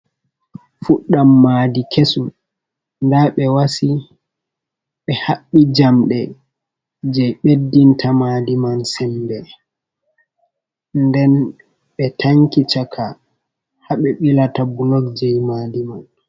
Fuɗɗam maadi kesum. Nda ɓe wasi ɓe haɓɓi jamɗe je ɓeddinta maadi man sembe, nden ɓe tanki chaka haɓe ɓilata bulok je maadi man.